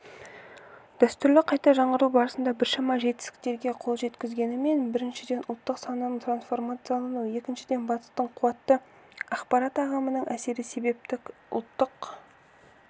дәстүрді қайта жаңғырту барысында біршама жетістіктерге қол жеткізілгенімен біріншіден ұлттық сананың трансформациялануы екіншіден батыстың қуатты ақпарат ағымының әсері себепті ұлттық